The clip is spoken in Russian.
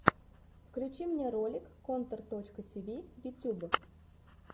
включи мне ролик контор точка ти ви ютюб